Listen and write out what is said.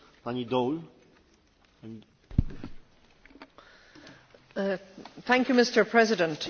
Mr President, water is a key issue of cooperation across the Mediterranean.